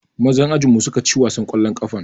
Mazan ajinmu suka ci wasan ƙwallon ƙafan.